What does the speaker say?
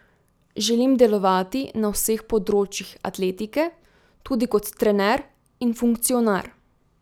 Želim delovati na vseh področjih atletike, tudi kot trener in funkcionar.